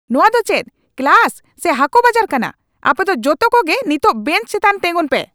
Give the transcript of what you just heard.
ᱱᱚᱣᱟ ᱫᱚ ᱪᱮᱫ ᱠᱞᱟᱥ ᱥᱮ ᱦᱟᱠᱚ ᱵᱟᱡᱟᱨ ᱠᱟᱱᱟ ? ᱟᱯᱮ ᱫᱚ ᱡᱚᱛᱚ ᱠᱚᱜᱮ ᱱᱤᱛᱚᱜ ᱵᱮᱧᱪ ᱪᱮᱛᱟᱱ ᱛᱮᱸᱜᱚᱱ ᱯᱮ !